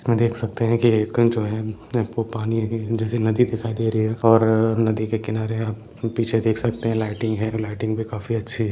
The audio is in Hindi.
इसमें देख सकते है जैसे नदी दिखाई दे रहे है और नदी के किनारे आप पीछे देख सकते है। लाइटिंग भी काफी अच्छी हैं।